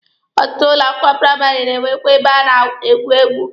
Ọtụtụ ụlọ akwụkwọ praịmarị na-enwekwa ebe a na-egwu egwu.